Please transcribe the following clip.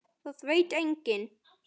Það veit enginn